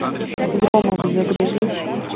громовы загрузи